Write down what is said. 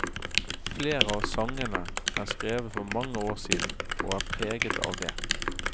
Flere av sangene er skrevet for mange år siden, og er preget av det.